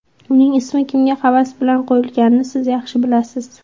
Uning ismi kimga havas bilan qo‘yilganini siz yaxshi bilasiz.